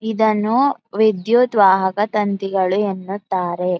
ಇದನ್ನು ವಿದ್ಯುತ್ ವಾಹಕ ತಂತಿಗಳು ಎನ್ನುತ್ತಾರೆ.